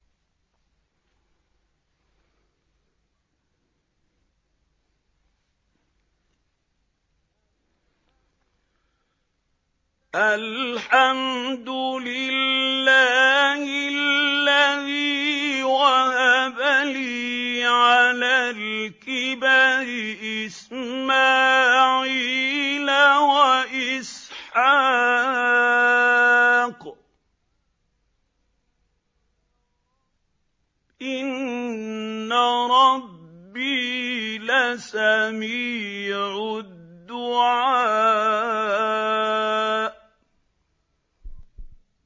الْحَمْدُ لِلَّهِ الَّذِي وَهَبَ لِي عَلَى الْكِبَرِ إِسْمَاعِيلَ وَإِسْحَاقَ ۚ إِنَّ رَبِّي لَسَمِيعُ الدُّعَاءِ